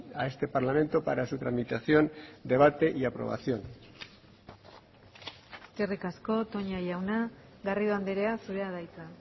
a este parlamento para su tramitación debate y aprobación eskerrik asko toña jauna garrido andrea zurea da hitza